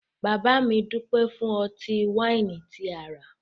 Bàbá mi dúpẹ́ fún ọtí-wáìnì tí a rà